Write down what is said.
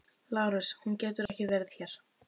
LÁRUS: Hún getur ekki verið hér.